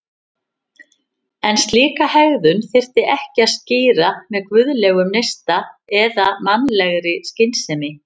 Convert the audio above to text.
En slíka hegðun þyrfti ekki að skýra með guðlegum neista eða mannlegri skynsemi.